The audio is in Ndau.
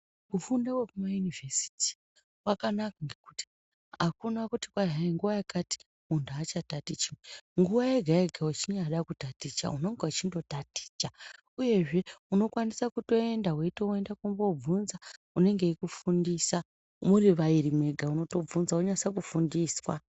Kufunda kwekumaYunivesiti kwakanaka ngekuti akuna kuti kwai hai nguwa yakati munhu achatatichi nguwa yega yega wechinyada kutaticha unonga weindotaticha uyezve unokwanisa kutoenda wetoenda kumboobvunza unenge weikufundisa muri vaviri mwega unotobvunza wonyase kufundiswa.